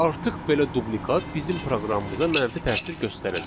Artıq belə dublikat bizim proqramımıza mənfi təsir göstərəcək.